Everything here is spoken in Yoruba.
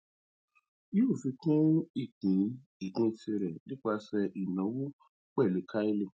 yóò fi kún ìpín ìpín tirẹ nípasẹ ìnáwó pẹlú carlyle